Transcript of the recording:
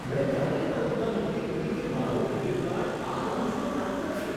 મેં ક્યારેય કલ્પના નહોતી કરી કે મારું ક્રેડિટ કાર્ડ આ લાઉન્જમાં કામ કરશે!